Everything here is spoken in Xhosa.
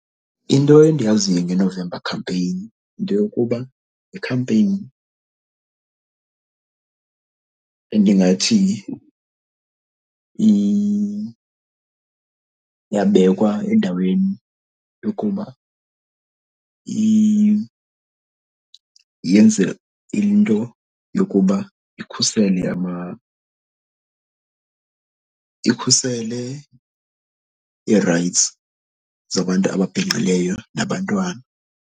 Into endiyaziyo ngeNovember Campaign yinto yokuba yikhampeyini endingathi yabekwa endaweni yokuba yenze into yokuba ikhusele ikhusele i-rights zabantu ababhinqileyo nabantwana.